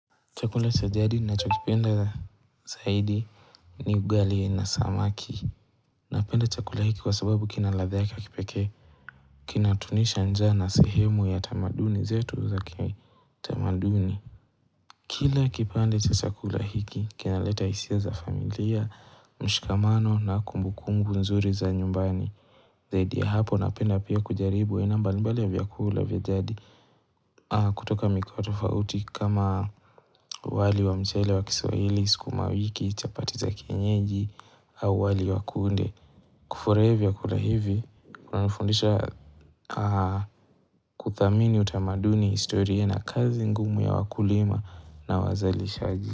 Chakula cha jadi ninachokipenda zaidi ni ugali na samaki. Napenda chakula hiki kwa sababu kina ladha yake ya kipeke. Kina tunisha njaa na sehemu ya tamaduni zetu za kitamaduni. Kila kipande cha chakula hiki, kinaleta hisia za familia, mshikamano na kumbukumbu nzuri za nyumbani. Zaidi ya hapo napenda pia kujaribu haina mbalimbali ya vyakula vyajadi. Kutoka mikoa tofauti kama wali wa mchele wa kiswahili skumawiki chapati za kienyeji au wali wa kunde kufuraia vyakula hivi kuna nifundisha kuthamini utamaduni historia na kazi ngumu ya wakulima na wazali shaji.